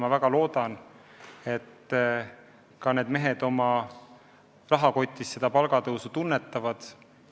Ma väga loodan, et ka need mehed oma rahakotis seda palgatõusu tunnetavad.